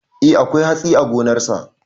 Eh akwai hatsi a gonarsa.